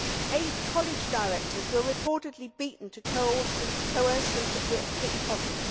Eight college directors were reportedly beaten to coerce them to pick cotton.